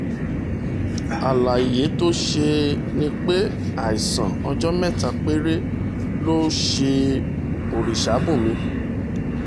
àlàyé tó ṣe ni pé àìsàn ọjọ́ mẹ́ta péré ló ṣe orìṣàbùnmí